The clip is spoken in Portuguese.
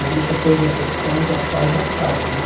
Aí, porque a minha profissão já faz, já paga, né?